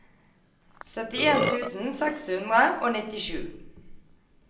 syttien tusen seks hundre og nittisju